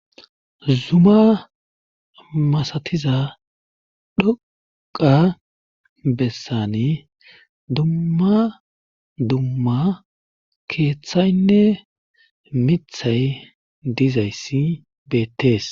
Zuma masatiza dhoqqa bessani dumma dumma keeththaynne miththay dizayssi beettees